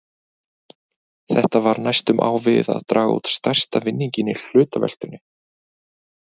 Þetta var næstum á við að draga út stærsta vinninginn í hlutaveltunni!